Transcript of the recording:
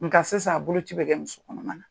Nka sisan bolo ci bɛ kɛ musokɔnɔma na.